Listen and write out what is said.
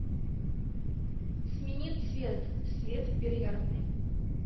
смени цвет свет в бильярдной